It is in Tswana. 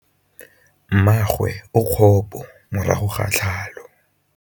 Mmagwe o kgapô morago ga tlhalô.